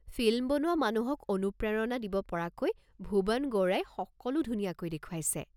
Film বনোৱা মানুহক অনুপ্ৰেৰণা দিব পৰাকৈ ভূৱন গৌড়াই সকলো ধুনীয়াকৈ দেখুৱাইছে।